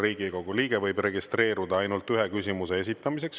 Riigikogu liige võib registreeruda ainult ühe küsimuse esitamiseks.